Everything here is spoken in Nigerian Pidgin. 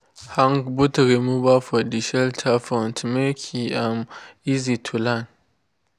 hang boot remover for de shelter front make e um easy to clean.